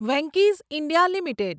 Venky's India limited